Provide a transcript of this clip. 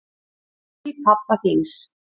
Til pabba þíns.